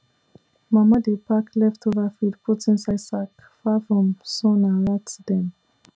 mama dey pack leftover feed put inside sack far from sun and rat dem